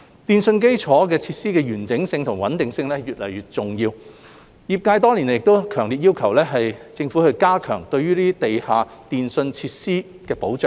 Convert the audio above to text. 電訊基建設施的完整性及穩定性越來越重要，業界多年來亦強烈要求政府加強地下電訊設施的保障。